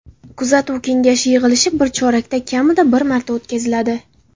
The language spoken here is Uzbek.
Kuzatuv kengashi yig‘ilishi bir chorakda kamida bir marta o‘tkaziladi.